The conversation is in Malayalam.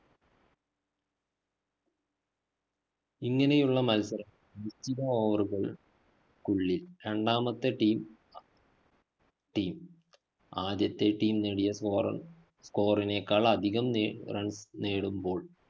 ഇങ്ങനെയുള്ള മത്സരങ്ങ നിശ്ചിത over കള്‍ ക്കുള്ളില്‍ രണ്ടാമത്തെ team team ആദ്യത്തെ team നേടിയ score, score നേക്കാള്‍ അധികം നേ runs നേടുമ്പോള്‍